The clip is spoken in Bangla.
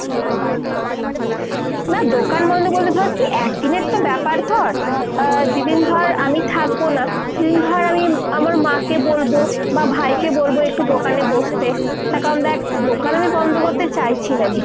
না দোকান বন্দ বলতে ধর কী একদিনের তো ব্যাপার ধর। যেদিন ধর আমি থাকবো না সেদিন ধর আমি আমার মাকে বলবো বা ভাইকে বলবো একটু দোকানে বসতে। তার কারণ দ্যাখ দোকান আমি বন্দ করতে চাইছি না।